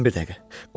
Dayan bir dəqiqə.